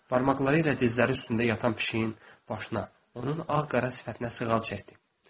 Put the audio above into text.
Barmaqları ilə dizləri üstündə yatan pişiyin başına, onun ağ-qara sifətinə sığal çəkdi.